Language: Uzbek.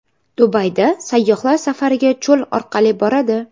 Dubayda sayyohlar safariga cho‘l orqali boradi.